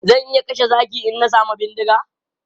Zan iya kashe zaki in na samu bindiga.